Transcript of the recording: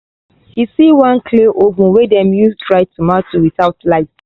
he see one clay oven wey dem dey use dry tomato without light.